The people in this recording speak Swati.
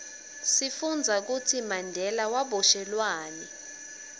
sifundza kutsi mandela waboshelwani